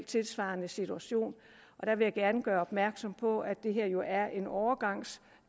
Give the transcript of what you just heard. tilsvarende situation og der vil jeg gerne gøre opmærksom på at det her jo er en overgangslov